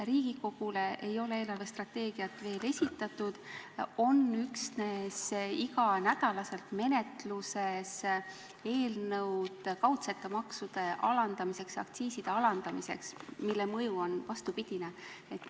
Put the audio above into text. Riigikogule ei ole eelarvestrateegiat veel esitatud, üksnes iga nädal on menetluses eelnõud kaudsete maksude alandamiseks, aktsiiside alandamiseks, mille mõju on vastupidine.